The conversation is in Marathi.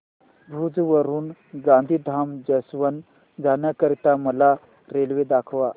भुज वरून गांधीधाम जंक्शन जाण्या करीता मला रेल्वे दाखवा